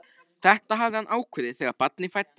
Þetta hafði hann ákveðið þegar barnið fæddist.